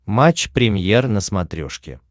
матч премьер на смотрешке